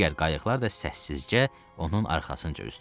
Digər qayıqlar da səssizcə onun arxasınca üzdü.